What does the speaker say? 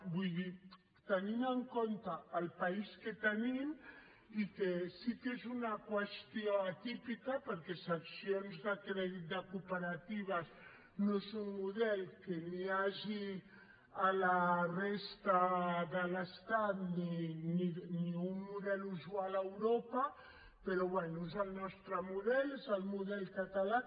vull dir tenint en compte el país que tenim i que sí que és una qüestió atípica perquè seccions de crèdit de cooperatives no és un model que hi hagi a la resta de l’estat ni un model usual a europa però bé és el nostre model és el model català